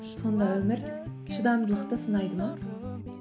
сонда өмір шыдамдылықты сынайды ма